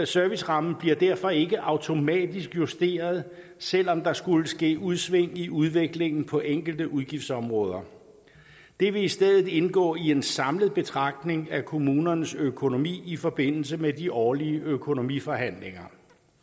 servicerammen bliver derfor ikke automatisk justeret selv om der skulle ske udsving i udviklingen på enkelte udgiftsområder det vil i stedet indgå i en samlet betragtning af kommunernes økonomi i forbindelse med de årlige økonomiforhandlinger